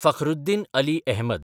Fakhruddin Ali Ahmed